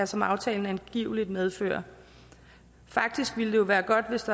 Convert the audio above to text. som aftalen angiveligt medfører faktisk ville det jo være godt hvis